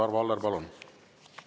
Arvo Aller, palun!